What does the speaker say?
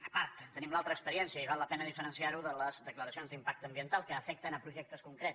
a part tenim l’altra experiència i val la pena diferenciar ho de les declaracions d’impacte ambiental que afecten projectes concrets